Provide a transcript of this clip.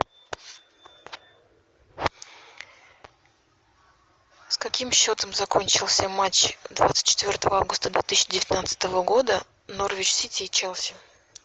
с каким счетом закончился матч двадцать четвертого августа две тысячи девятнадцатого года норвич сити и челси